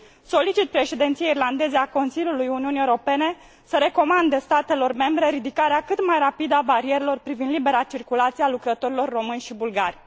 Solicit Președinției irlandeze a Consiliului Uniunii Europene să recomande statelor membre ridicarea cât mai rapidă a barierelor privind libera circulație a lucrătorilor români și bulgari.